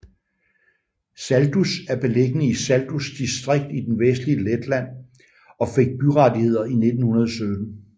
Saldus er beliggende i Saldus distrikt i det vestlige Letland og fik byrettigheder i 1917